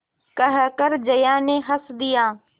कहकर जया ने हँस दिया